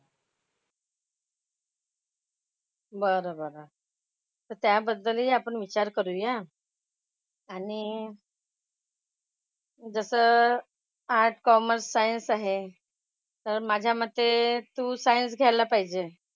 बरं बरं. तर त्याबद्दलही आपण विचार करूया. आणि जसं आर्टस्, कॉमर्स, सायन्स आहे तर माझ्या मते तू सायन्स घ्यायला पाहिजेल.